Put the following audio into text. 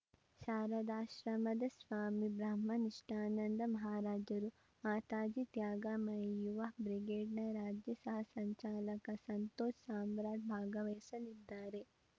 ಶಾರಾದಾಶ್ರಮದ ಸ್ವಾಮಿ ಬ್ರಹ್ಮನಿಷ್ಠಾನಂದ ಮಹರಾಜರು ಮಾತಾಜಿ ತ್ಯಾಗಮಯಿ ಯುವ ಬ್ರಿಗೇಡ್‌ನ ರಾಜ್ಯ ಸಹ ಸಂಚಾಲಕ ಸಂತೋಷ್‌ ಸಾಮ್ರಾಟ್‌ ಭಾಗವಹಿಸಲಿದ್ದಾರೆ